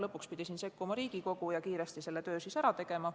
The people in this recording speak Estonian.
Lõpuks pidi sekkuma Riigikogu ja kiiresti selle töö ära tegema.